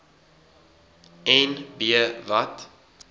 en b wat